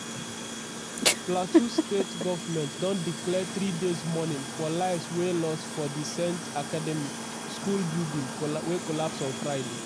plateau state government don declare three days mourning for lives wey lost for di saint academy school building collapse on friday.